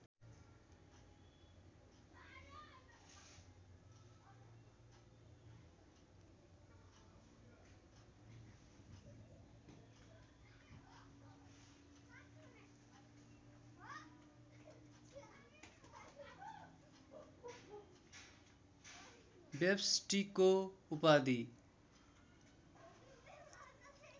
व्यष्टिको उपाधि